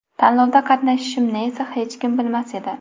Tanlovda qatnashishimni esa hech kim bilmas edi.